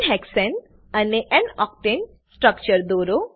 n હેક્સાને અને n octane structure દોરો